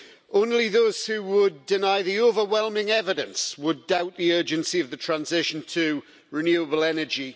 Only those who would deny the overwhelming evidence would doubt the urgency of the transition to renewable energy.